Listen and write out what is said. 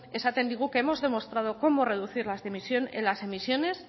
esaten digu que hemos demostrado cómo reducir en las emisiones